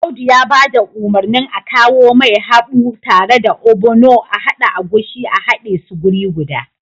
Audu ya ba da umarnin akawomai haɓu tare da ogbono ahada agushi a hade su wuri guda